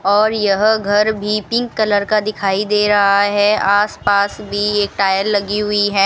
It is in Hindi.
और यह घर भी पिंक कलर का दिखाई दे रहा है आसपास भी एक टायर लगी हुई है।